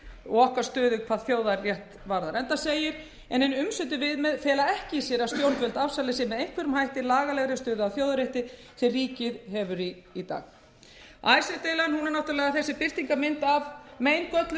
og okkar stöðu hvað þjóðarrétt varðar enda segir en hin umsömdu viðmið fela ekki í sér að stjórnvöld afsali sér með einhverjum hætti lagalegri stöðu að þjóðarétti sem ríkið hefur í dag icesave deilan er náttúrlega þessi birtingarmynd af meingölluðu